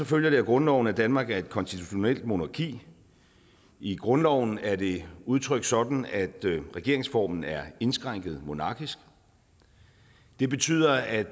følger det af grundloven at danmark er et konstitutionelt monarki i grundloven er det udtrykt sådan at regeringsformen er indskrænket monarkisk det betyder at